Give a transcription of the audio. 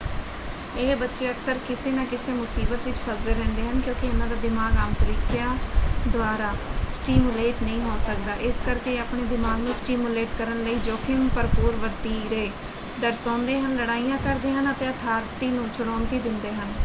ਇਹ ਬੱਚੇ ਅਕਸਰ ਕਿਸੇ ਨਾ ਕਿਸੇ ਮੁਸੀਬਤ ਵਿੱਚ ਫੱਸਦੇ ਰਹਿੰਦੇ ਹਨ ਕਿਉਂਕਿ ਇਨ੍ਹਾਂ ਦਾ ਦਿਮਾਗ ਆਮ ਤਰੀਕਿਆਂ ਦੁਆਰਾ ਸਟਿਮੂਲੇਟ ਨਹੀਂ ਹੋ ਸਕਦਾ ਇਸ ਕਰਕੇ ਇਹ ਆਪਣੇ ਦਿਮਾਗ ਨੂੰ ਸਟਿਮੂਲੇਟ ਕਰਨ ਲਈ ਜੋਖਮ ਭਰਪੂਰ ਵਤੀਰੇ ਦਰਸਾਉਂਦੇ ਹਨ ਲੜਾਈਆਂ ਕਰਦੇ ਹਨ ਅਤੇ ਅਥਾਰਟੀ ਨੂੰ ਚੁਣੌਤੀ ਦਿੰਦੇ ਹਨ”।